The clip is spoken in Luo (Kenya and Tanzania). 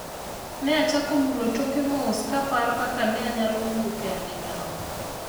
ne achako mulo toke mos ka aparo kaka ne anyalo wuok e andaki no